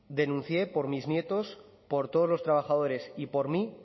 denuncié por mis nietos por todos los trabajadores y por mí